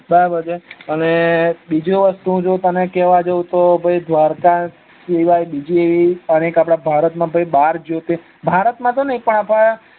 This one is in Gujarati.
બરાબર છે અને બીજું વસ્તુ કેવા જવ તો દ્વારક સિવાય બીજી એવી આપડ એક ભારત માં બાર જ્યોત ભારત માં તો નઈ પણ આપડ